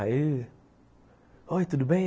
Aí... Oi, tudo bem?